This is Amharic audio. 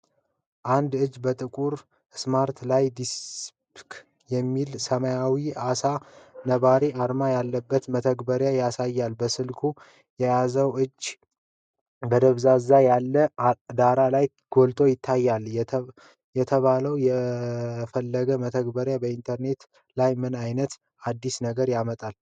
አንድ እጅ በጥቁር ስማርትፎን ላይ "ዲፕ ሲክ" የሚል ሰማያዊ ዓሣ ነባሪ አርማ ያለበትን መተግበሪያ ያሳያል። ስልኩ የያዘው ሰው እጁ በደብዘዝ ያለ ዳራ ላይ ጎልቶ ይታያል። የተባለው የፍለጋ መተግበሪያ በኢንተርኔት ላይ ምን አይነት አዲስ ነገር ያመጣል?